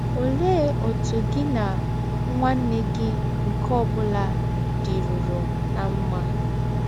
Ọlee ọtụ gị na nwanne gị nke ọ bụla dịrụrụ ná mma?